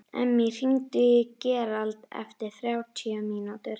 Emmý, hringdu í Gerald eftir þrjátíu mínútur.